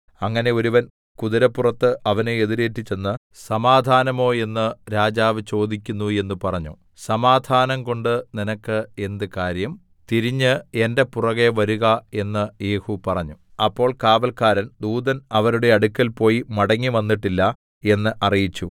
അങ്ങനെ ഒരുവൻ കുതിരപ്പുറത്ത് അവനെ എതിരേറ്റ് ചെന്ന് സമാധാനമോ എന്ന് രാജാവ് ചോദിക്കുന്നു എന്ന് പറഞ്ഞു സമാധാനം കൊണ്ട് നിനക്ക് എന്ത് കാര്യം തിരിഞ്ഞ് എന്റെ പുറകെ വരുക എന്ന് യേഹൂ പറഞ്ഞു അപ്പോൾ കാവല്ക്കാരൻ ദൂതൻ അവരുടെ അടുക്കൽ പോയി മടങ്ങിവന്നിട്ടില്ല എന്ന് അറിയിച്ചു